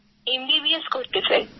M B B S করতে চাই